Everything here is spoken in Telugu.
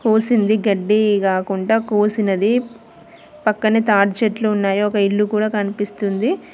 పూసింది గడ్డి కాకుండా కోసినది పక్కనే తాటి చెట్లు ఉన్నాయి. ఒక ఇల్లు కూడా కనిపిస్తుంది.